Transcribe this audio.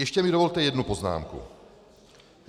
Ještě mi dovolte jednu poznámku.